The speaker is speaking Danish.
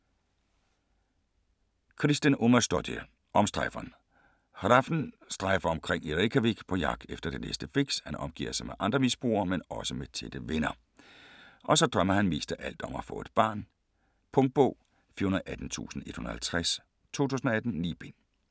Kristín Ómarsdóttir: Omstrejferen Hrafn strejfer omkring i Reykjavik på jagt efter det næste fix. Han omgiver sig med andre misbrugere men også med tætte venner. Og så drømmer han mest af alt om at få et barn. Punktbog 418150 2018. 9 bind.